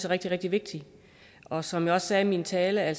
rigtig rigtig vigtigt og som jeg også sagde i min tale er